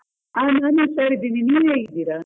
ಹಾ ನಾನ್ ಹುಷಾರಿದ್ದೇನೆ, ನೀವ್ ಹೇಗಿದ್ದೀರ?